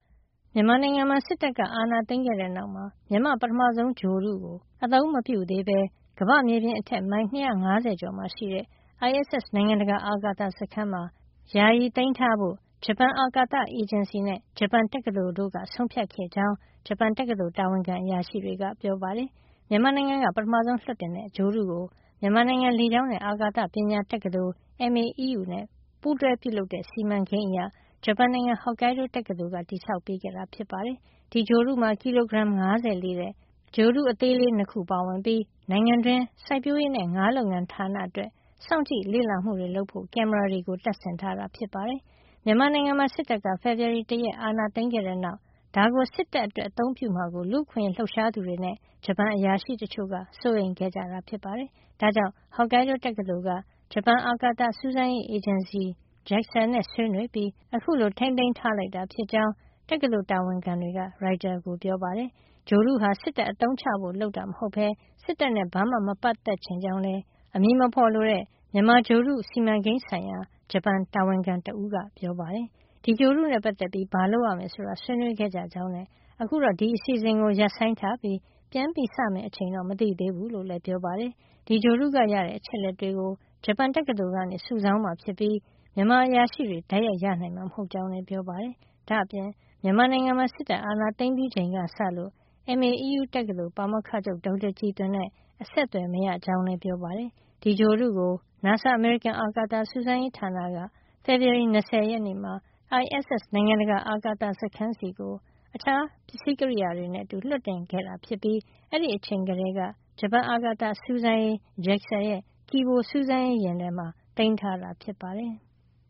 မြန်မာနိုင်ငံမှာ စစ်တပ်ကအာဏာသိမ်းခဲ့တဲ့နောက်မှာ မြန်မာ့ ပထမဆုံးဂြိုဟ်တုကို ကမ္ဘာ့မြေပြင်အထက် မိုင် ၂၅၀ ကျော်မှာ ရှိတဲ့ ISS နိုင်ငံတကာအာကာသ စခန်းမှာ အသုံးမပြုသေးပဲ ယာယီသိမ်းထားဖို့ ဂျပန်အာကာသအေဂျင်စီ နဲ့ ဂျပန်တက္ကသိုလ်တို့က ဆုံးဖြတ်ခဲ့ကြောင်း ဂျပန်တက္ကသိုလ် တာဝန်ခံအရာရှိ တွေက ပြောပါတယ်။ မြန်မာနိုင်ငံက ပထမဆုံး လွှတ်တင်တဲ့ ဂြိုဟ်တုကို မြန်မာနိုင်ငံ လေကြောင်းနဲ့ အာကာသ ပညာ တက္ကသိုလ် MAEU နဲ့ ပူးတွဲပြုလုပ်တဲ့ စီမံကိန်းအရ ဂျပန်နိုင်ငံ Hokkaido တက္ကသိုလ်က တည်ဆောက်ပေးခဲ့တာပါ။ ဒီဂြိုဟ်တုမှာ ကီလိုဂရမ် ၅၀ လေးတဲ့ microsatellites ဂြိုဟ်တုသေးလေး ၂ ခုပါဝင်ပြီး နိုင်ငံတွင်း စိုက်ပျိုးရေးနဲ့ ငါးလုပ်ငန်းဌာနအတွက် စောင့်ကြည့်လေ့လာမှုတွေ လုပ်ဖို့ ကင်မရာတွေတပ်ဆင်ထားတာ ဖြစ်ပါတယ်။ မြန်မာနိုင်ငံမှာ စစ်တပ်က ဖေဖေါ်ဝါရီလ ၁ ရက်နေ့မှာ အာဏာသိမ်းခဲ့တဲ့နောက် ဒါကို စစ်တပ်အတွက် အသုံးပြုမှာကို လူ့အခွင့်ရေးလှုပ်ရှားသူတွေနဲ့ ဂျပန်အရာရှိ တချိုံ့က စိုးရိမ်ခဲ့ကြတာ ဖြစ်ပါတယ်။ ဒါကြောင့် Hokkaido တက္ကသိုလ် က ဂျပန်အာကာသစူးစမ်းရေး အေဂျင်စီ JAXA နဲ့ ဆွေးနွေးပြီး အခုလို ထိန်းသိမ်းထားလိုက်တာ ဖြစ်ကြောင်း တက္ကသိုလ် တာဝန်ခံတွေက ရိုက်တာကို ပြောပါတယ်။ ဂြိုဟ်တုဟာ စစ်တပ်အသုံးချဖို့ လုပ်ထားတာ မဟုတ်ပဲ စစ်တပ်နဲ့ ဘာမှ မပတ်သက်ချင်ကြောင်း လည်း အမည်မဖေါ်လိုတဲ့ မြန်မာဂြိုဟ်တု စီမံကိန်း ဆိုင်ရာ ဂျပန်တာဝန်ခံတဦးက ပြောပါတယ်။ ဒီဂြိုဟ်တုနဲ့ ပတ်သက်ပြီး ဘာလုပ်ရမယ် ဆိုတာကို ဆွေးနွေးခဲ့ကြကြောင်းနဲ့ အခုတော့ ဒီအစီအစဉ်ကို ရပ်ဆိုင်းထားပြီး ပြန်စမယ့် အချိန် မသိသေးဘူးလို့လည်း ပြောပါတယ်။ ဒီဂြိုဟ်တုက ရတဲ့ အချက်အလက်တွေကို ဂျပန်တက္ကသိုလ်က စုဆောင်းမှာ ဖြစ်ပြီး မြန်မာအရာရှိတွေ တိုက်ရိုက်ရနိုင်မှာ မဟုတ်ကြောင်းလည်း ပြောပါတယ်။ ဒါ့အပြင် မြန်မာနိုင်ငံမှာ စစ်တပ်အာဏာသိမ်းပြီးချိန်ကစလို့ MAEU တက္ကသိုလ်က ပါမောက္ခချုပ် ဒေါက်တာကြည်သွင်နဲ့ အဆက်အသွယ်မရကြောင်းလည်း ပြောပါတယ်။ ဒီဂြိုဟ်တုကို NASA အမေရိကန်အာကာသစူးစမ်းရေးဌာနက ဖေဖေါ်ဝါရီလ ၂၀ မှာ ISS နိုင်ငံတကာအာကာသစခန်းဆီကို တခြား ပစ္စည်းကရိယာတွေနဲ့ အတူ လွှတ်တင်ခဲ့တာ ဖြစ်ပြီး အဲဒီအချိန်ကတည်းက ဂျပန်အာကာသစူးစမ်းရေး JAXA ရဲ့ Kibo စူးစမ်းရေးယာဉ်ထဲမှာ သိမ်းထားတာ ဖြစ်ပါတယ်။